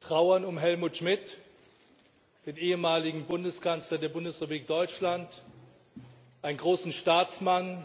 trauern um Helmut Schmidt, den ehemaligen Bundeskanzler der Bundesrepublik Deutschland, einen großen Staatsmann,